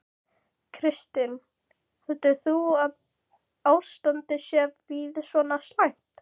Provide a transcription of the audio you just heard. Kristinn: Heldur þú að ástandið sé víða svona slæmt?